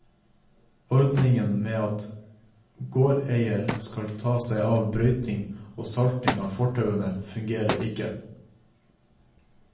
Ordningen med at gårdeier skal ta seg av brøyting og salting av fortauene, fungerer ikke.